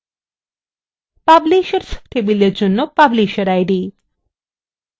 publishers table জন্য publishersid